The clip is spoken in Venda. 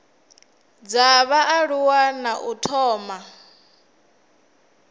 dza vhaaluwa na u thoma